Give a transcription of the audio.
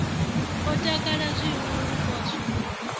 o takala zwihulu u poswa